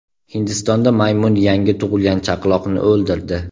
Hindistonda maymun yangi tug‘ilgan chaqaloqni o‘ldirdi.